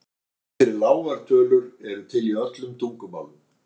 heiti fyrir lágar tölur eru til í öllum tungumálum